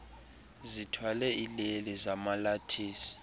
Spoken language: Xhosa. zithwale iileli zomalathisi